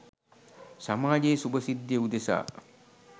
සමාජයේ සුබ සිද්ධිය උදෙසා